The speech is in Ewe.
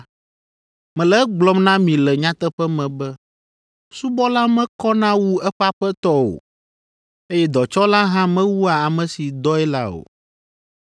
Mele egblɔm na mi le nyateƒe me be subɔla mekɔna wu eƒe aƒetɔ o, eye dɔtsɔla hã mewua ame si dɔe la o.